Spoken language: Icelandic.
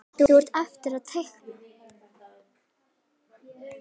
Þá á eftir að teikna.